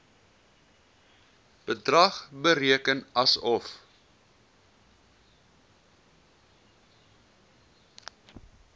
bedrag bereken asof